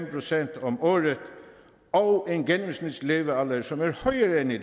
procent om året og en gennemsnitslevealder som er højere end i